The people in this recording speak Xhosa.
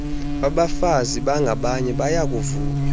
bafazi bangabanye bayakuvunywa